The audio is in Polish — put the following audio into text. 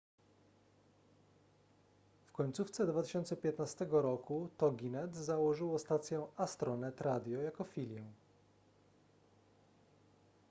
w końcówce 2015 roku toginet założyło stację astronet radio jako filię